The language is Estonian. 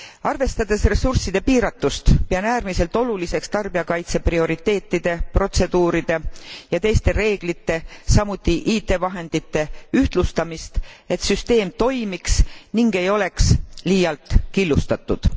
Arvestades ressursside piiratust pean äärmiselt oluliseks tarbijakaitse prioriteetide, protseduuride ja teiste reeglite, samuti IT vahendite ühtlustamist, et süsteem toimiks ning ei oleks liialt killustatud.